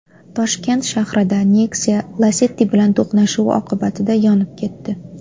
Toshkent shahrida Nexia Lacetti bilan to‘qnashuvi oqibatida yonib ketdi.